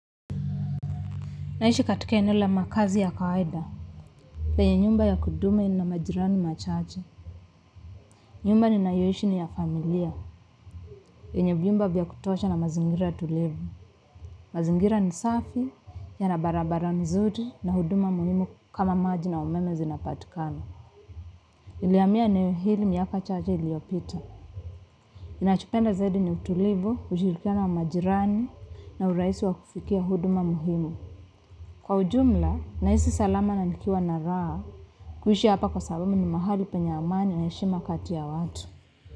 Ninaishi katika eneo la makazi ya kawaida. Penye nyumba ya kudumu ina majirani wachache. Nyumba ninayoishi ni ya familia. Yenye vyumba vya kutosha na mazingira tulivu. Mazingira ni safi, na barabara ni nzuri na huduma muhimu kama maji na umeme zinapatikana. Nilihamia eneo hili miaka chache iliyopita. Ninachopenda zaidi ni utulivu, ujirani wa majirani na urahisi wa kufikia huduma muhimu. Kwa ujumla, nahisi salama na nikiwa na raha. Kuishi hapa ni kwa sababu ni mahali penye amani na heshima kati ya watu.